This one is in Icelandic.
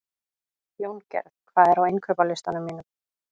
Jóngerð, hvað er á innkaupalistanum mínum?